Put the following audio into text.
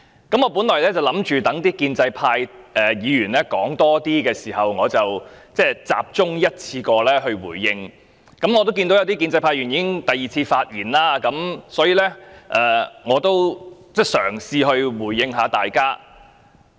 我原本想待更多建制派議員發言後，才集中一次過回應，但我看到有部分建制派議員已經第二次發言，所以我想嘗試回應大家。